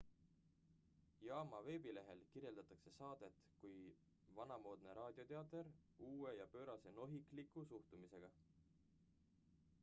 "jaama veebilehel kirjeldatakse saadet kui "vanamoodne raadioteater uue ja pöörase nohikliku suhtumisega!""